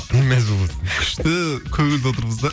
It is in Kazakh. не мәз болып отырсың күшті көңілді отырмыз да